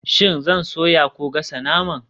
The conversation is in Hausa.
Shin zan soya ko gasa naman?